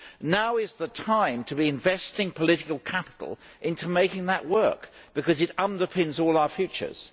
Now is the time to be investing political capital into making that work because it underpins all our futures.